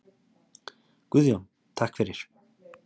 Guðjón: Takk fyrir.